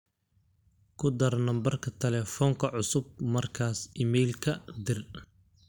ku dhar nambarka telefonka cusub markas iimayka dir